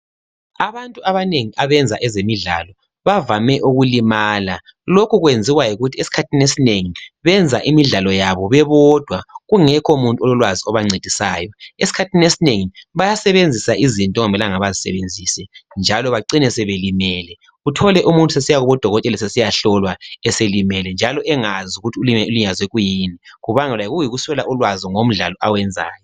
Abantu abanengi abenza ezemidlalo bavame ukulimala. Lokhu kwenziwa yikuthi esikhathini esinengi benza imidlalo yabo bebodwa kungekho muntu ololwazi obancedisayo. Esikhathini esinengi bayasebenzisa izinto okungamelanga bazisebenzise njalo bacine sebelimele Uthole umuntu esesiyakubodokotela esesiyahlolwa eselimele njalo engazi ukuthi ulinyazwe kuyini kuyikuswela ulwazi ngomdlalo awenzayo.